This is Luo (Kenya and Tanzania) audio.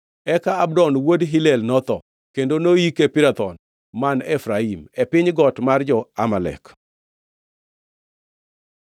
Eka Abdon wuod Hillel notho, kendo noyike Pirathon man Efraim, e piny got mar jo-Amalek.